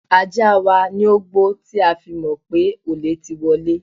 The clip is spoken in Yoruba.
Ajá wa ni ó gbó tí a fi mọ̀ pé olè ti wọlé.